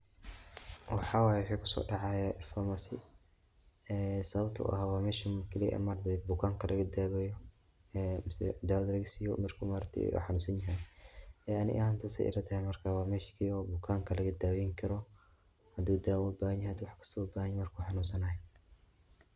Waxaa waye waxa kusoo dacaaya farmasi waa meesha bukaanka laga daweeyo ama daawa laga siiyo marki uu xanuunsani haayo.